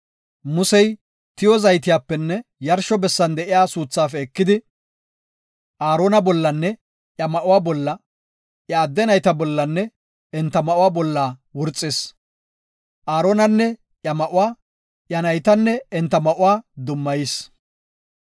Musey tiyo zaytiyapenne yarsho bessan de7iya suuthaafe ekidi, Aarona bollanne iya ma7uwa bolla, iya adde nayta bollanne, enta ma7uwa bolla wurxis; Aaronanne iya ma7uwa, iya naytanne enta ma7uwa dummayis.